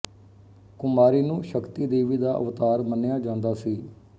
ਕੁਮਾਰੀ ਨੂੰ ਸ਼ਕਤੀ ਦੇਵੀ ਦਾ ਅਵਤਾਰ ਮੰਨਿਆ ਜਾਂਦਾ ਸੀ